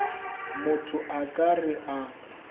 motho a ka re a